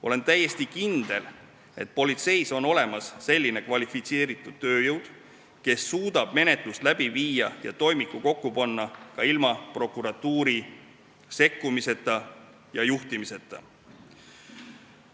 Olen täiesti kindel, et politseis on olemas kvalifitseeritud tööjõud, kes suudab menetlust läbi viia ja toimiku kokku panna ka ilma prokuratuuri sekkumise ja juhtimiseta.